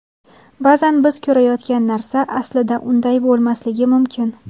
Ba’zan biz ko‘rayotgan narsa aslida unday bo‘lmasligi mumkin.